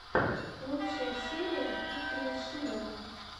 лучшая серия дмитрия шилова